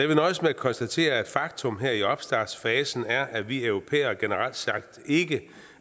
vil nøjes med at konstatere at faktum her i opstartsfasen er at vi europæere generelt sagt ikke